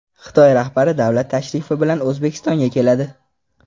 Xitoy rahbari davlat tashrifi bilan O‘zbekistonga keladi.